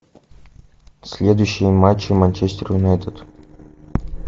следующие матчи манчестер юнайтед